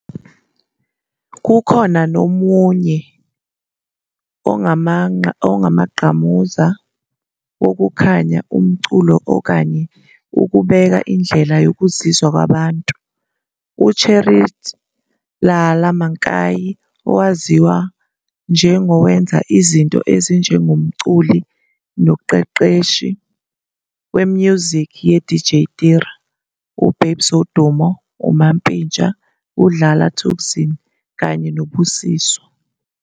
Kukhona nomunye ongamanqamuza wokukhanya umculo okanye ukubeka indlela yokuzizwa kwabantu, uCherish Lala Mankai, owaziwa njengowenza izinto ezinjengomculi noqeqeshi we-music ye-DJ Tira, uBabes Wodumo, uMampintsha, uDlala Thukzin, kanye no Busiswa.